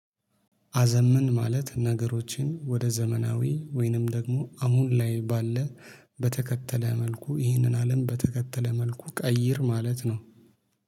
አዘምን ማለት ነገሮችን ወደ ዘመናዊ ወይንም ደግሞ አሁን ላይ ባለ በተከተለ መልኩ ይህንን አለም በተከተለ መልኩ ቀይር ማለት ነው።